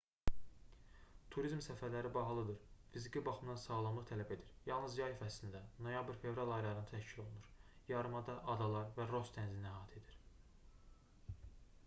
turizm səfərləri bahalıdır fiziki baxımdan sağlamlıq tələb edir yalnız yay fəslində noyabr-fevral aylarında təşkil olunur yarımada adalar və ross dənizini əhatə edir